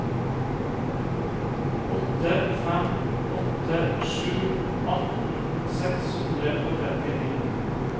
åtte fem åtte sju atten seks hundre og trettini